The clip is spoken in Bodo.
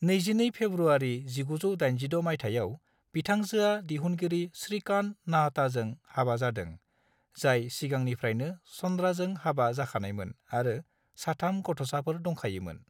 22 फेब्रुआरि 1986 मायथाइयाव, बिथांजोआ दिहुनगिरि श्रीकांत नाहटाजों हाबा जादों, जाय सिगांनिफ्रायनो चंद्राजों हाबा जाखानायमोन आरो सा-3 गथ'साफोर दंखायोमोन।